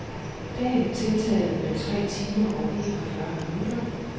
Dagen tiltaget med tre timer og en og fyrre minutter.